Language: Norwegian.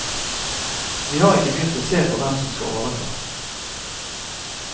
Vi har ikke begynt å se på hvem som skal overta.